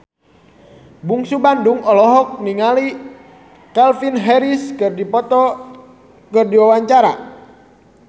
Bungsu Bandung olohok ningali Calvin Harris keur diwawancara